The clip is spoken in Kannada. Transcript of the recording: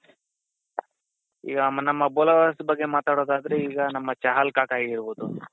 ಈಗ ನಮ್ಮ bowlers ಬಗ್ಗೆ ಮಾತಾಡದ್ ಆದ್ರೆ ಈಗ ನಮ್ಮ ಚಹಲ್ ಕಾಕಾ ಆಗಿರ್ಬೋದು